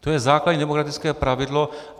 To je základní demokratické pravidlo.